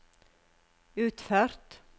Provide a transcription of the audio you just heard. utført